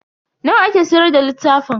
Nawa ake siyar da littafin?